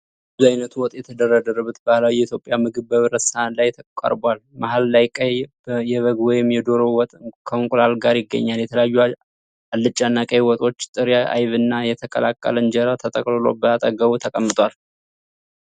ብዙ አይነት ወጥ የተደረደረበት ባህላዊ የኢትዮጵያ ምግብ በብረት ሳህን ላይ ቀርቧል። መሃል ላይ ቀይ የበግ ወይም የዶሮ ወጥ ከእንቁላል ጋር ይገኛል። የተለያዩ አልጫና ቀይ ወጦች፣ ጥሬ አይብና የተቀቀለ እንጀራ ተጠቅልሎ በአጠገቡ ተቀምጧል።